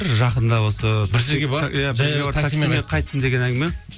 жақында осы бір жерге барып иә жаяу таксимен қайттым деген әңгіме